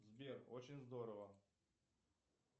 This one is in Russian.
сбер очень здорово